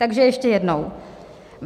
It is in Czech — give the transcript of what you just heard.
Takže ještě jednou.